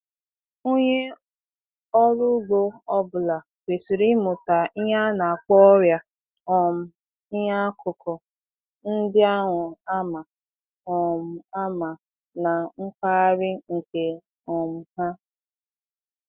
Onye ọrụubi ọbụla kwesịrị ịmụta ihe a na-akpọ ọrịa um iheakụkụ ndị ahụ a ma um ama na mpaghara nke um ha.